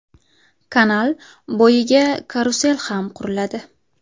Kanal bo‘yiga karusel ham quriladi.